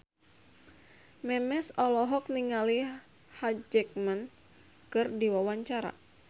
Memes olohok ningali Hugh Jackman keur diwawancara